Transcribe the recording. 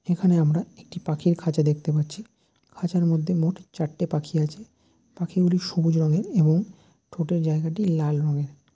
এখানে আমরা একটি পাখির খাঁচা দেখতে পাচ্ছি খাঁচার মধ্যে মোট চারটে পাখি আছে পাখি গুলি সবুজ রঙের এবং ঠোঁটের জায়গাটি লাল রঙের ।